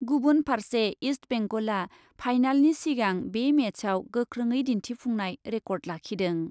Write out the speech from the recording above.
गुबुन फार्से इस्ट बेंगलआ फाइनालनि सिगां बे मेचआव गोख्रोङै दिन्थिफुंनाय रेकर्ड लाखिदों।